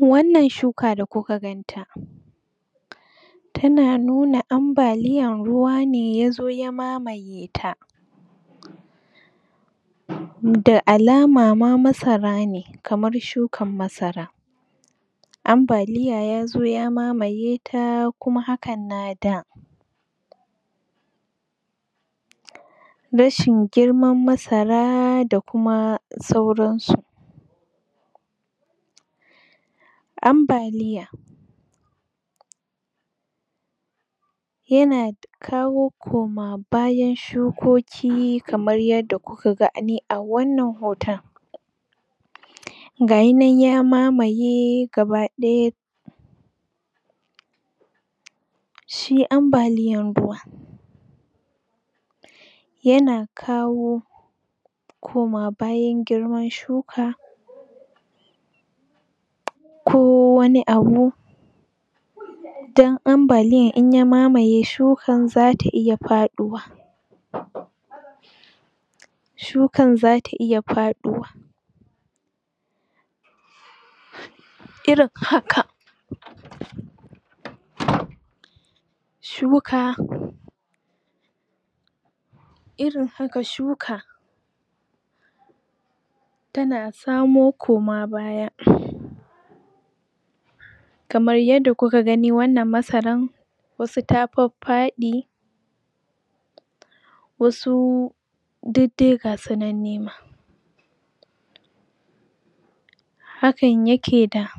wannan shuka da kuka ganta tana nuna ambaliyan ruwa ne yazo ya mamaye ta da alama ma masara ne, kamar shukan masara ambaliya yazo ya mamaye ta, kuma hakan na da rashin girman masara da kuma sauran su ambaliya yana da kawo koma bayan shukoki kamar yanda kuka gani a wannan hoton gayinan ya mamaye gaba ɗaya shi ambaliyan ruwa yana kawo koma bayan girman shuka ko wani abu don ambaliyan in ya mamaye shukan zata iya faɗuwa shukan zata iya faɗuwa irin haka? shuka irin haka shuka tana samo koma baya kamar yanda kuka gani, wannan masaran wasu ta faffaɗi wasu duk dai gasu nan ne ma hakan yake da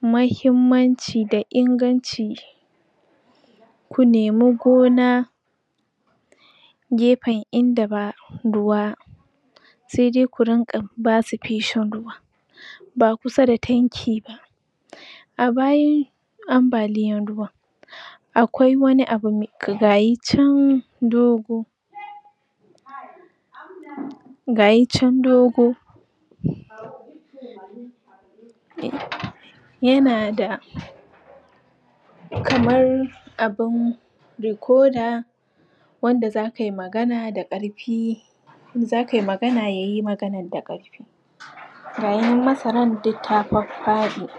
mahimmanci da inganci ku nemi gona gefen inda ba ruwa sai dai ku rinƙa basu feshin ruwa ba kusa da tanki ba a bayan ambaliyan ruwan akwai wani abu me gayi can, dogo gayi can dogo?? yanada kamar abin rikoda wanda za kai magana da ƙarfi in za kai magana, yayi maganar da ƙarfi gayinan masaran duk ta faffaɗi